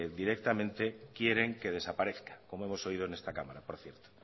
directamente quieren que desaparezca como hemos oído en esta cámara por cierto